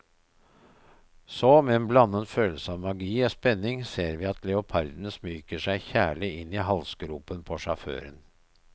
Så, med en blandet følelse av magi og spenning, ser vi at leoparden smyger seg kjærlig inn i halsgropen på sjåføren.